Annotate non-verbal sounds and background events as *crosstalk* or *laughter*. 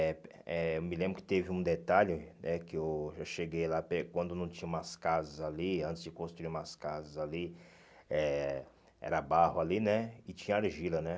eh eh Eu me lembro que teve um detalhe, né, que eu eu cheguei lá, *unintelligible* quando não tinha umas casas ali, antes de construir umas casas ali, eh era barro ali, né, e tinha argila, né.